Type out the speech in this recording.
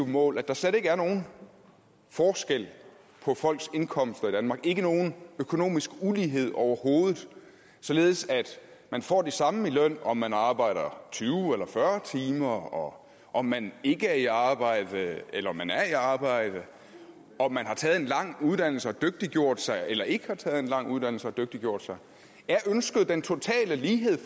mål at der slet ikke er nogen forskel på folks indkomster i danmark ikke nogen økonomisk ulighed overhovedet således at man får det samme i løn om man arbejder tyve eller fyrre timer om man ikke er i arbejde eller om man er i arbejde om man har taget en lang uddannelse og dygtiggjort sig eller ikke har taget en lang uddannelse og dygtiggjort sig er ønsket den totale lighed